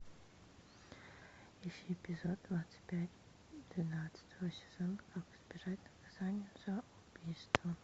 ищи эпизод двадцать пять двенадцатого сезона как избежать наказания за убийство